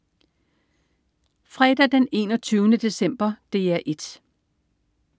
Fredag den 21. december - DR 1: